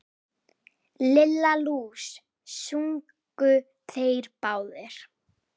Lilla lús! sungu þeir báðir.